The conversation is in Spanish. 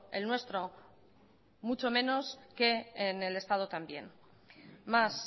el nuestro mucho menos que en el estado también más